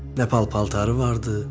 Nə pal-paltarı vardı,